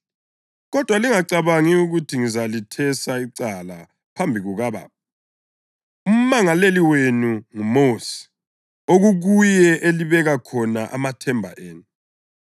Kodwa lingacabangi ukuthi ngizalethesa icala phambi kukaBaba. Umangaleli wenu nguMosi, okukuye elibeke khona amathemba enu.